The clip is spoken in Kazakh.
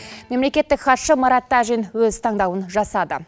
мемлекеттік хатшы марат тажин өз таңдауын жасады